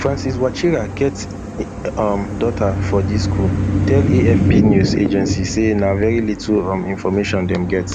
francis wachira wey get um daughter for di school tell afp news agency say na very little um information dem get